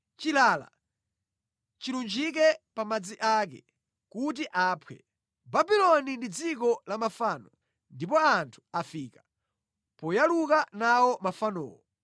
Chilala chilunjike pa madzi ake kuti aphwe. Babuloni ndi dziko la mafano, ndipo anthu afika poyaluka nawo mafanowo.